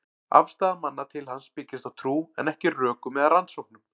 Afstaða manna til hans byggist á trú, en ekki rökum eða rannsóknum.